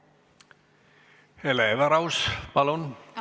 Hele Everaus, palun!